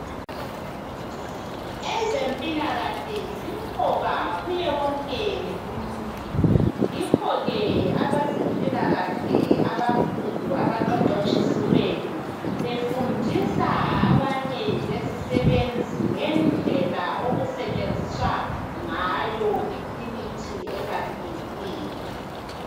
Ezempilakahle zimqoka kuyewonke umuntu, yikho ke abezempilakahle abakhulu abaqeqetshisiweyo befundisa abanye lezisebenzi ngendlela okusetshenziswa ngayo imithi ebalulekileyo.